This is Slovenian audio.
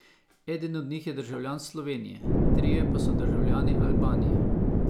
Eden od njih je državljan Slovenije, trije pa so državljani Albanije.